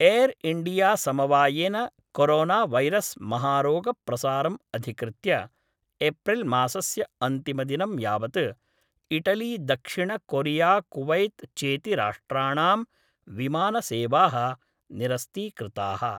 Air India समवायेन corona virus महारोगप्रसारम् अधिकृत्य एप्रिल् मासस्य अन्तिमदिनं यावत् इटलीदक्षिणकोरियाकुवैत् चेति राष्ट्राणां विमानसेवाः निरस्तीकृताः।